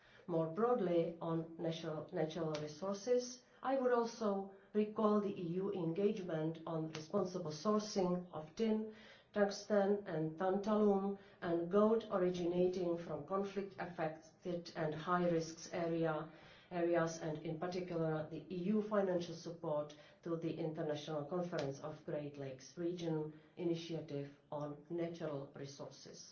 More broadly, on natural resources, I would also recall the EU engagement on responsible sourcing of tin, tungsten, tantalum and gold originating from conflict affected and high risk areas and, in particular, the EU financial support to the International Conference on the Great Lakes Region initiative on natural resources.